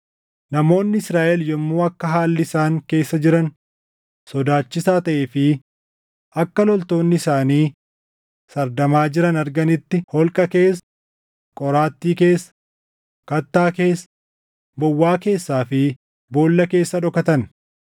Namoonni Israaʼel yommuu akka haalli isaan keessa jiran sodaachisaa taʼee fi akka loltoonni isaanii sardamaa jiran arganitti holqa keessa, qoraattii keessa, kattaa keessa, bowwaa keessaa fi boolla keessa dhokatan.